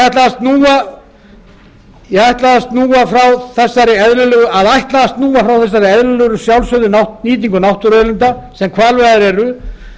þegar veiðarnar hefjast að ætla að snúa frá þessari eðlilegu og sjálfsögðu nýtingu náttúruauðlinda sem hvalveiðar eru